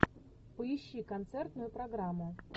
поищи концертную программу